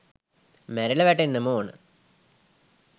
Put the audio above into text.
මැරිල වැටෙන්නම ඕන.